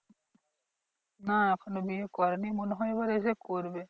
না এখনও বিয়ে করেনি মনেহয় এসে করবে।